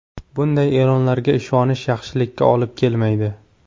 Bunday e’lonlarga ishonish yaxshilikka olib kelmaydi.